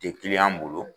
Tɛ bolo